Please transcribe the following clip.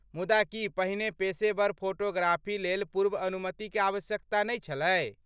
मुदा की पहिने पेशेवर फोटोग्राफी लेल पूर्व अनुमतिक आवश्यकता नै छलै?